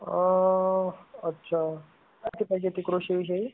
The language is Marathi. अच्छा माहिती पाहिजे होती का कृषीविषयी?